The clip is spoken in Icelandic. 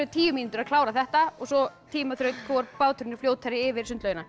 tíu mínútur að klára þetta og svo hvor báturinn er fljótari yfir sundlaugina